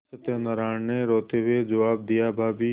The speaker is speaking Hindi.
सत्यनाराण ने रोते हुए जवाब दियाभाभी